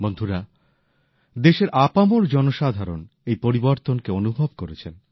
বন্ধুরা দেশের আপামর জনসাধারণ এই পরিবর্তনকে অনুভব করেছেন